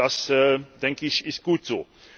Und das, denke ich, ist gut